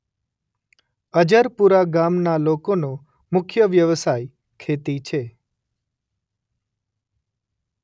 અજરપુરા ગામના લોકોનો મુખ્ય વ્યવસાય ખેતી છે.